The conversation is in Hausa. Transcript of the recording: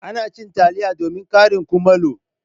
Ana cin taliya domin karin kumallo